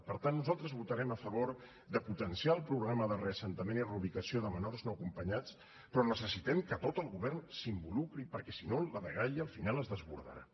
per tant nosaltres votarem a favor de potenciar els programes de reassentament i reubicació de menors no acompanyats però necessitem que tot el govern s’hi involucri perquè si no la dgaia al final es desbordarà